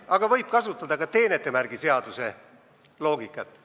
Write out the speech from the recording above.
Aga võib kasutada ka teenetemärkide seaduse loogikat.